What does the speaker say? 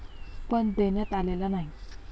पण, देण्यात आलेला नाही.